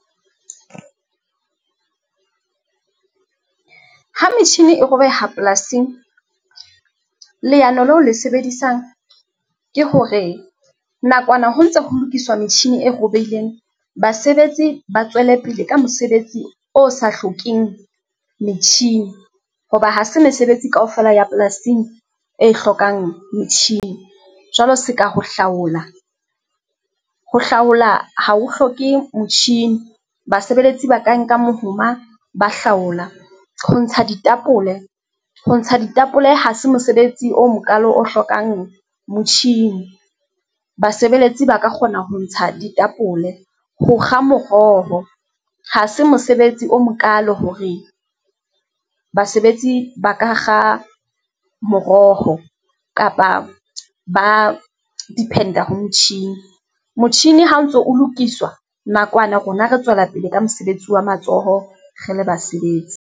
Ha metjhini e robeha polasing, leano leo le sebedisang ke hore nakwana ho ntse ho lokiswa metjhini e robehileng, basebetsi ba tswele pele ka mosebetsi o sa hlokeng metjhini hoba ha se mesebetsi kaofela ya polasing e hlokang metjhini. Jwalo seka ho hlaola, ho hlaola ha o hloke motjhini. Basebeletsi ba ka nka mohoma ba hlaola ho ntsha ditapole, ho ntsha ditapole ha se mosebetsi o mokalo o hlokang motjhini, basebeletsi ba ka kgona ho ntsha ditapole. Ho kga moroho ha se mosebetsi o mokalo hore basebetsi ba ka kga moroho kapa ba depend-a ho motjhini, motjhini ha o ntso o lokiswa nakwana rona re tswela pele ka mosebetsi wa matsoho re le basebetsi.